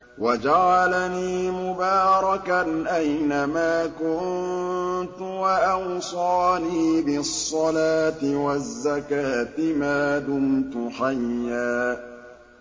وَجَعَلَنِي مُبَارَكًا أَيْنَ مَا كُنتُ وَأَوْصَانِي بِالصَّلَاةِ وَالزَّكَاةِ مَا دُمْتُ حَيًّا